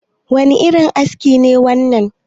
wane irin aski ne wannan?